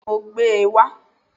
Bẹ́ẹ̀ni, mo gbé e wá